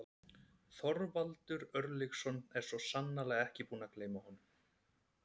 Þorvaldur Örlygsson er svo sannarlega ekki búinn að gleyma honum.